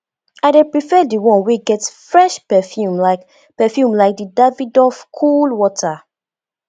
i dey prefer di one wey get fresh perfume like perfume like di davidoff cool water